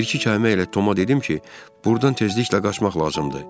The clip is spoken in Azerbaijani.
Bir-iki kəlmə ilə Toma dedim ki, buradan tezliklə qaçmaq lazımdır.